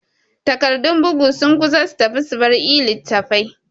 Tagardur bugu sun kusa su tafi subar e-littatafai